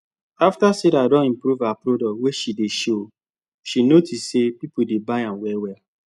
after sarah don improve her products wey she dey show she notice say people dey buy am very well